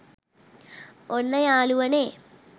ඔන්න යාළුවනේ